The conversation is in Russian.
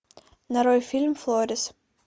нарой фильм флорис